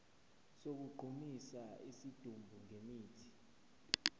sokugqumisa isidumbu ngemithi